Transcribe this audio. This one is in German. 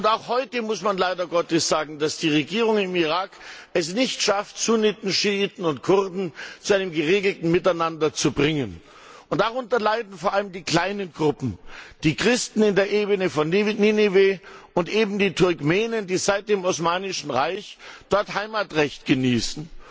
Und auch heute muss man leider sagen, dass es die Regierung im Irak nicht schafft, Sunniten, Schiiten und Kurden zu einem geregelten Miteinander zu bringen. Darunter leiden vor allem die kleinen Gruppen die Christen in der Ebene von Ninive und eben die Turkmenen, die seit dem Osmanischen Reich dort Heimatrecht genießen.